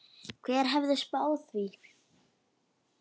Hver hefði spáð því?